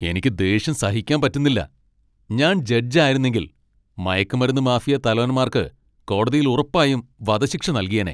എനിക്ക് ദേഷ്യം സഹിക്കാൻ പറ്റുന്നില്ല, ഞാൻ ജഡ്ജ് ആയിരുന്നെങ്കിൽ , മയക്കുമരുന്ന് മാഫിയാ തലവന്മാർക്ക് കോടതിയിൽ ഉറപ്പായും വധശിക്ഷ നൽകിയേനെ.